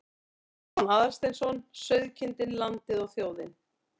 Stefán Aðalsteinsson: Sauðkindin, landið og þjóðin.